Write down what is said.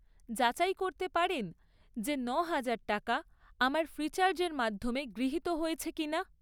যাচাই করতে পারেন যে ন'হাজার টাকা আমার ফ্রিচার্জের মাধ্যমে গৃহীত হয়েছে কিনা?